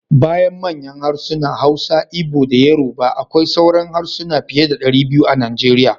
Bayan manyan harsuna: Hausa, Igbo da Yoruba akwai sauran harsuna fiye da 200 a Nigeria.